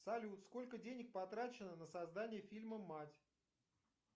салют сколько денег потрачено на создание фильма мать